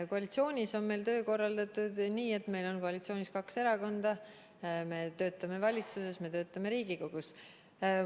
Koalitsioonis on meil töö korraldatud nii, et meil on kaks erakonda, me töötame valitsuses ja me töötame Riigikogus.